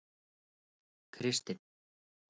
Kristin